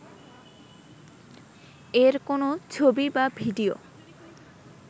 এর কোন ছবি বা ভিডিও